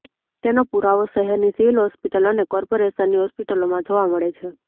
તેનો પુરાવો શહેરની સિવિલ હોસ્પિટલ અને કોર્પોરેશનની હોસ્પિટલોમાં જોવા મળે છે